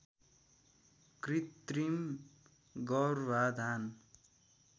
कृत्रिम गर्भाधान